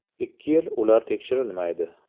Ikki yil ular tekshirilmaydi.